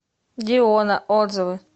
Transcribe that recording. диона отзывы